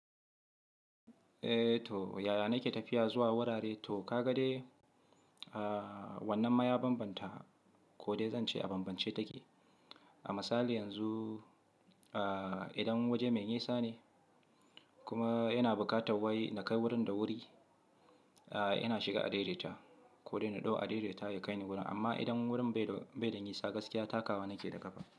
Eh to yaya nake tafiya zuwa wurare? To ka ga dai wannan ma ya banbanta, ko dai zan ce a banbance take. A misali yanzu idan waje mai nisa ne kuma yana buƙatar wai na kai wurin da wuri, ina shiga adaidaita ko dai na ɗau adaidaita ya kaini wurin. Amma idan wurin bai dai, bai dai yin yisa gaskiya takawa nake daƙafa.